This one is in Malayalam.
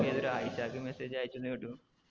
നീയേതോ ഒര് ആയിഷാക്ക് message അയച്ചുന്നു കേട്ടു